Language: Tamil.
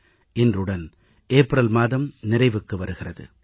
இன்றுடன் ஏப்ரல் மாதம் நிறைவுக்கு வருகிறது